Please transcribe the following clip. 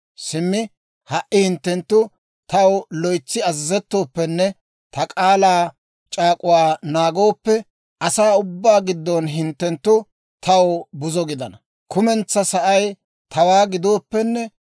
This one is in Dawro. Simmi ha"i hinttenttu taw loytsi azazettooppenne ta k'aalaa c'aak'uwaa naagooppe, asaa ubbaa giddon hinttenttu taw buzo gidana. Kumentsaa sa'ay tawaa gidooppenne